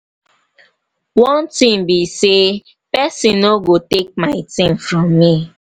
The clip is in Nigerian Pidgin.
one thing be say person no go take my thing from me.